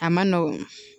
A ma nɔgɔn